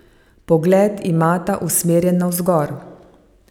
Pogled imata usmerjen navzgor.